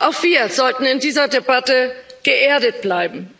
Auch wir sollten in dieser Debatte geerdet bleiben.